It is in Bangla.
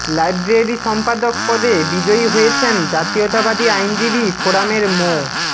লাইব্রেরি সম্পাদক পদে বিজয়ী হয়েছেন জাতীয়তাবাদী আইনজীবী ফোরামের মো